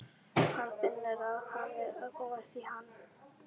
Hann finnur að hann er að komast í ham.